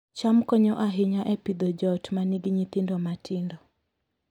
cham konyo ahinya e Pidhoo joot ma nigi nyithindo matindo